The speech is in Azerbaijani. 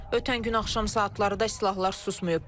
Ötən gün axşam saatlarında silahlar susmayıb.